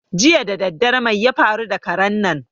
Jiya daddare mai ya faru da karen nan?